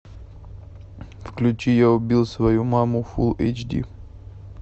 включи я убил свою маму фул эйч ди